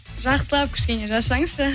жақсылап кішкене жазсаңызшы